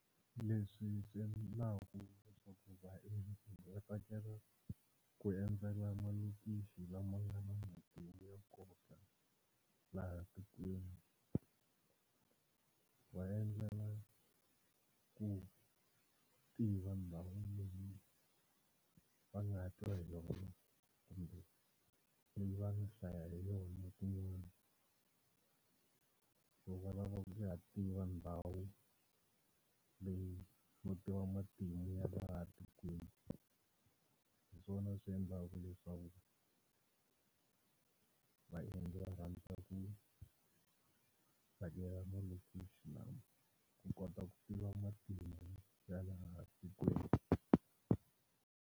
Leswi swi endlaku leswaku vaendzi va tsakela ku endzela malokixi lama nga na matimu ya nkoka laha tikweni, va endlela ku tiva ndhawu leyi va nga twa hi yona kumbe va nga hlaya hi yona kun'wani, ku va lava ku ya tiva ndhawu leyi matimu ya laha tikweni. Hiswona swi endlaku leswaku vaendzi va rhandza ku vhakela malokixi na ku kota ku tiva matimu ya laha tikweni.